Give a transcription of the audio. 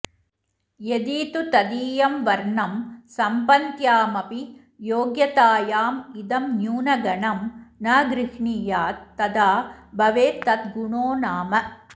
यदि तु तदीयं वर्णं सम्भन्त्यामपि योग्यतायाम् इदं न्यूनगुणं न गृङ्णीयात् तदा भवेदतद्गुणो नाम